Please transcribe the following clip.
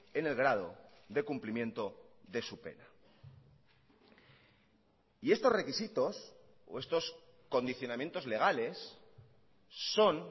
en el grado de cumplimiento de su pena y estos requisitos o estos condicionamientos legales son